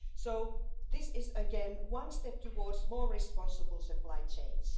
So this is, again, one step towards more responsible supply chains.